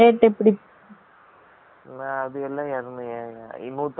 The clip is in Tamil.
அது எல்லாம் னூத்தி ஐம்பது ருபாய்க்கு மெல தான்